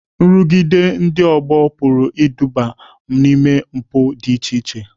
Nrụgide ndị ọgbọ pụrụ iduga n'ime mpụ dị iche iche.